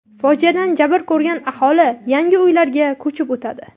Fojiadan jabr ko‘rgan aholi yangi uylarga ko‘chib o‘tadi.